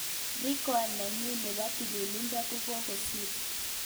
Record nenyin nebo tililido kokokisir.